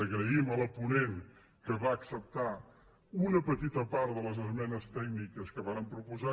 agraïm a la ponent que acceptés una petita part de les esmenes tècniques que vàrem proposar